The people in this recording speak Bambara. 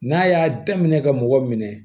N'a y'a daminɛ ka mɔgɔ minɛ